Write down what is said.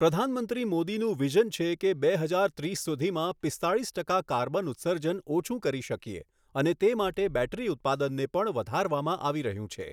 પ્રધાનમંત્રી મોદીનું વિઝન છે કે બે હજાર ત્રીસ સુધીમાં પિસ્તાલીસ ટકા કાર્બન ઉત્સર્જન ઓછું કરી શકીએ અને તે માટે બેટરી ઉત્પાદનને પણ વધારવામાં આવી રહ્યું છે.